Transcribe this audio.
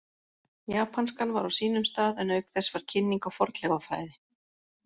Japanskan var á sínum stað en auk þess var kynning á fornleifafræði.